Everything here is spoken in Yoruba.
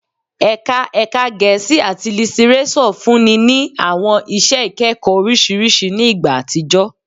Ẹka Ẹka Gẹẹsi ati Litireso funni ni awọn iṣẹ ikẹkọ oriṣiriṣi ni igba atijọ